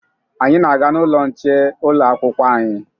Anyị na-aga n'ụlọ nche ụlọakwụkwọ anyị